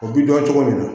O bi dɔn cogo min na